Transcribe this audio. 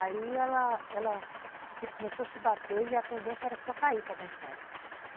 Aí ela ela começou a se bater e a tendência era só cair para dentro d'água.